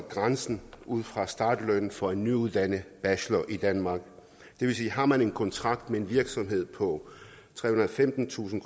sat ud fra startlønnen for en nyuddannet bachelor i danmark det vil sige at har man en kontrakt med en virksomhed på trehundrede og femtentusind